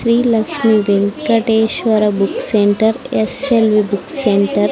Shri Lakshmi Venkateshwara book centre S L V book centre .